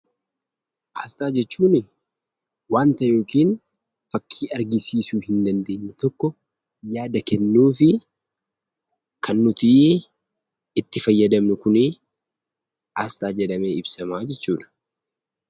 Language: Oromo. Aasxaa jechuun waan ta'ee yookiin fakkii argisiisuu hin dandeenye tokko yaada kennuu fi kan nuti itti fayyadamnu kun aasxaa jedhamee ibsama.